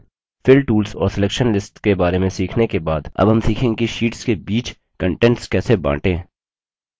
fill tools और selection lists के share में सीखने के बाद अब हम सीखेंगे कि शीट्स के बीच content कैसे बांटें